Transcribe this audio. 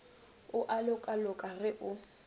o a lokaloka ge o